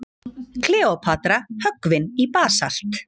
Kleópatra höggvin í basalt.